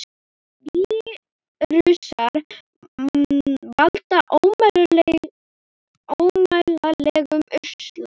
Vírusar valda ómældum usla.